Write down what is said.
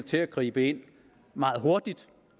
til at gribe ind meget hurtigt